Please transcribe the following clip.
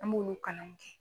An b'olu kalan kɛ.